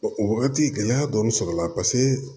O wagati gɛlɛya dɔɔnin sɔrɔla paseke